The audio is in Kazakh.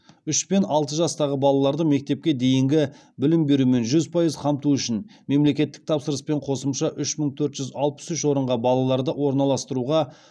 үшпен алты жастағы балаларды мектепке дейінгі білім берумен жүз пайыз қамту үшін мемлекеттік тапсырыспен қосымша үш мың төрт жүз алпыс үш орынға балаларды орналастыруға